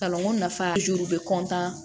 Kalanko nafa juru bɛ